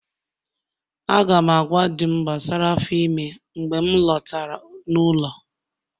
Aga m agwa Di'm gbasara afọ ime mgbe m lọtara n'ụlọ